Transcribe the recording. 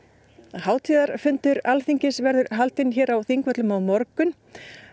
hátíðarfundur Alþingis verður haldinn hér á Þingvöllum á morgun